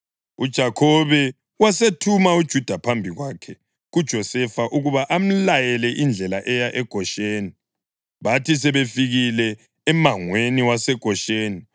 UJakhobe wasethuma uJuda phambi kwakhe kuJosefa ukuba amlayele indlela eya eGosheni. Bathi sebefikile emangweni waseGosheni,